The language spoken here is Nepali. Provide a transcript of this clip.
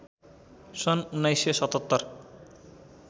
सन् १९७७